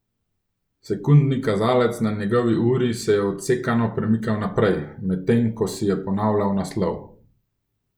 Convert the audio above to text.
Sekundni kazalec na njegovi uri se je odsekano premikal naprej, medtem ko si je ponavljal naslov.